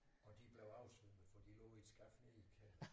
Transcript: Og de blev oversvømmet for de lå i et skab nede i kælderen